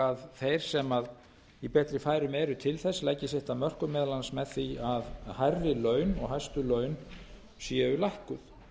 að þeir sem í betri færum eru til þess leggi sitt af mörkum meðal annars með því að hærri laun og hæstu laun séu lækkuð